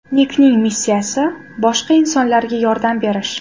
Nikning missiyasi – boshqa insonlarga yordam berish.